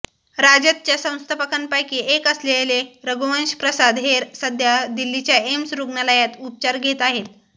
राजदच्या संस्थापकांपैकी एक असलेले रघुवंश प्रसाद हे सध्या दिल्लीच्या एम्स रुग्णालयात उपचार घेत आहेत